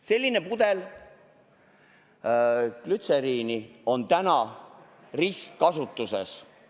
Selline pudel glütseriini on ristkasutuses.